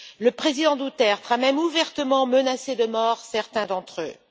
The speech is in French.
Le président Duterte a même ouvertement menacé de mort certains d'entre eux.